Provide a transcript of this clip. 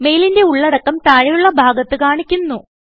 മെയിലിന്റെ ഉള്ളടക്കം താഴെയുള്ള ഭാഗത്ത് കാണിക്കുന്നു